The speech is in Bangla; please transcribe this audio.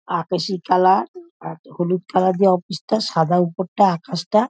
আকাশি কালার আ আর হলুদ কালার দিয়ে অফিস - টা সাদা উপরটা আকাশটা ।